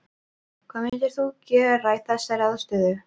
Hvað myndir þú gera í þessari aðstöðu?